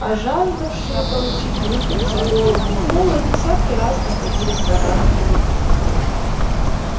а жаждавшие получить выкуп за голову холла десятки раз находили в горах его труп